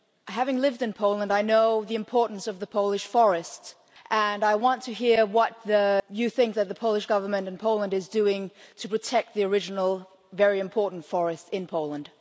Having lived in Poland I know the importance of the Polish forest and I want to hear what you think the Polish Government and Poland is doing to protect the original, very important forest in Poland.